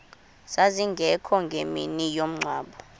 zazingekho ngemini yomngcwabo